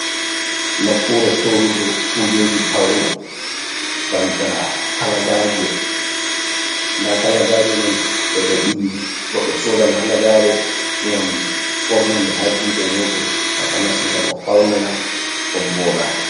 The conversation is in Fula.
Nokkure sorugo kujeji paune banta kalagaje, nda kalagaje man beɗo bili, goddo sodan halagare ngam ɓornanɗe ha juɗe mudum takanas ngam o faunira o voda.